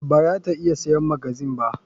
Bara ta iya siyan magazine ba.